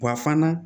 Wa fana